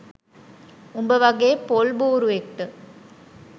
උබ වගේ පොල් බුරුවෙක්ට